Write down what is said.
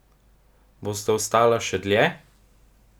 Bosta ostala še dlje?